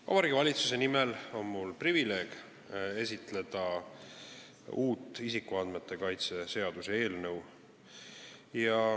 Vabariigi Valitsuse nimel on mul privileeg esitleda uue isikuandmete kaitse seaduse eelnõu.